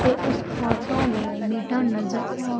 ये इस फोटो मे मीटर नजर आ--